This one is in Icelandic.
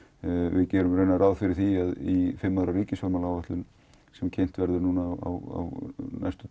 við gerum ráð fyrir því í fimm ára ríkisfjármálaáætlun sem kynnt verður á næstunni